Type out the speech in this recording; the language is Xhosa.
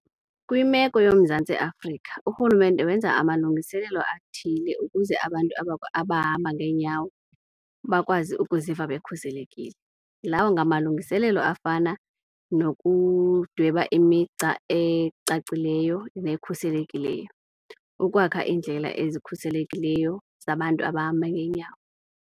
Kwimeko yoMzantsi Afrika uRhulumente wenza amalungiselelo athile ukuze abantu abahamba ngeenyawo bakwazi ukuziva bekhuselekile. Lawo ngamalungiselelo afana nokudweba imigca ecacileyo nekhuselekileyo, ukwakha iindlela ezikhuselekileyo zabantu abahamba ngeenyawo.